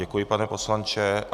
Děkuji, pane poslanče.